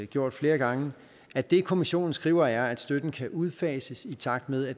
gjort flere gange at det kommissionen skriver er at støtten kan udfases i takt med at